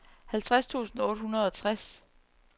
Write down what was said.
halvtreds tusind otte hundrede og tres